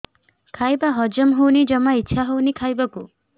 ଖାଇବା ହଜମ ହଉନି ଜମା ଇଛା ହଉନି ଖାଇବାକୁ